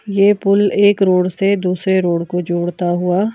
ये पुल एक रोड से दूसरे रोड को जोड़ता हुआ--